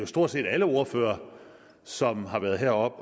stort set alle ordførere som har været heroppe